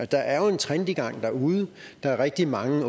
der er jo en trend i gang derude der er rigtig mange